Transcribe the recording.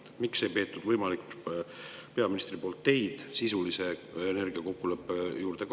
Miks peaminister ei pidanud võimalikuks kaasata teid sisulise energiakokkuleppe arutellu?